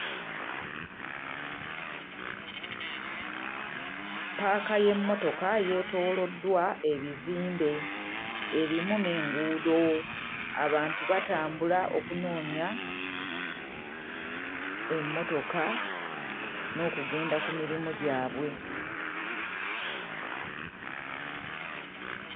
Ppaaka y'emmotoka yeetooloddwa ebizimbe erimu n'enguudo. Abantu batambula okunoonya emmotoka n'okugenda ku mirimu gyabwe.